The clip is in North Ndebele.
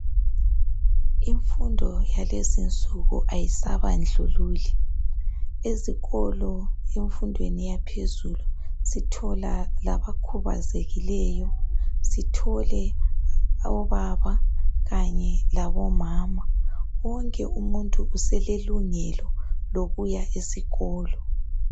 Imfundo yakuzinsuku kayisabandlululi. Ezikolo, emfundweni yaphezulu, sithola abakhubazekileyo. Sithole obaba labomama. Wonke umuntu uselelungelo lokuya esikolo.